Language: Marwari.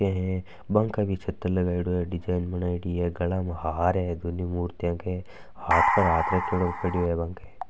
बा के भी छत्र लगयेड़ो है डिज़ाइन बनायेदी है गला में हार है दोनु मुर्तिया के हाथ पर हाथ रख राखो है।